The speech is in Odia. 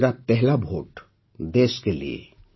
ମେରା ପହଲା ଭୋଟ୍ ଦେଶ୍ କେ ଲିଏ